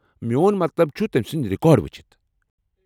میون مطلب چُھ ، تٔمۍ سٕنٛدۍ رٮ۪کارڈ وُچھ ۔